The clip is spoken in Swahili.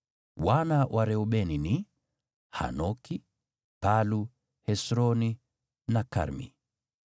Wana wa Reubeni ni: Hanoki, Palu, Hesroni na Karmi.